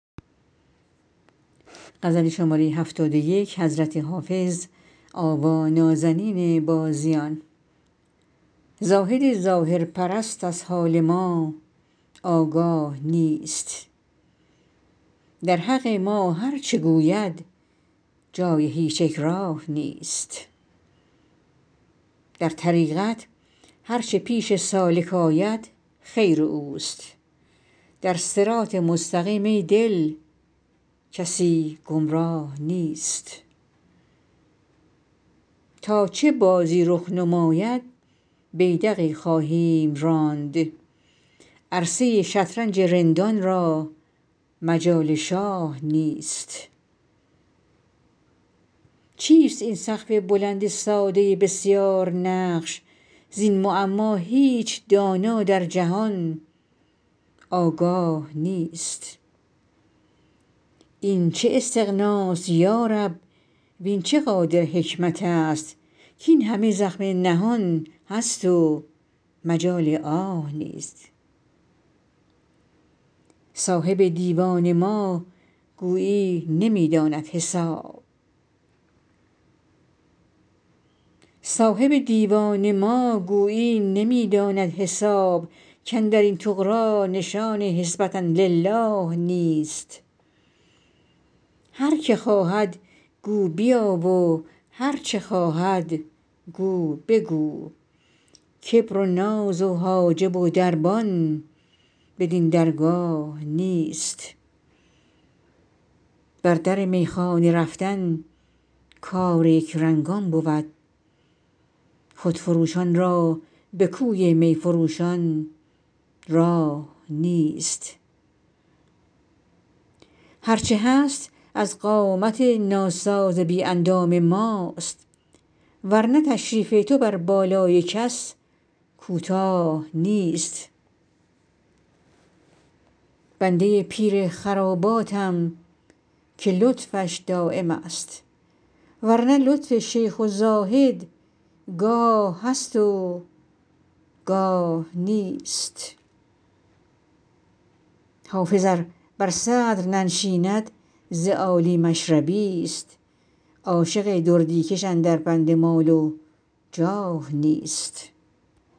زاهد ظاهرپرست از حال ما آگاه نیست در حق ما هرچه گوید جای هیچ اکراه نیست در طریقت هرچه پیش سالک آید خیر اوست در صراط مستقیم ای دل کسی گمراه نیست تا چه بازی رخ نماید بیدقی خواهیم راند عرصه ی شطرنج رندان را مجال شاه نیست چیست این سقف بلند ساده بسیارنقش زین معما هیچ دانا در جهان آگاه نیست این چه استغناست یا رب وین چه قادر حکمت است کاین همه زخم نهان است و مجال آه نیست صاحب دیوان ما گویی نمی داند حساب کاندر این طغرا نشان حسبة للٰه نیست هر که خواهد گو بیا و هرچه خواهد گو بگو کبر و ناز و حاجب و دربان بدین درگاه نیست بر در میخانه رفتن کار یکرنگان بود خودفروشان را به کوی می فروشان راه نیست هرچه هست از قامت ناساز بی اندام ماست ور نه تشریف تو بر بالای کس کوتاه نیست بنده ی پیر خراباتم که لطفش دایم است ور نه لطف شیخ و زاهد گاه هست و گاه نیست حافظ ار بر صدر ننشیند ز عالی مشربی ست عاشق دردی کش اندر بند مال و جاه نیست